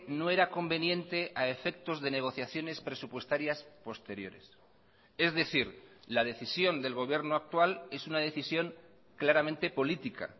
no era conveniente a efectos de negociaciones presupuestarias posteriores es decir la decisión del gobierno actual es una decisión claramente política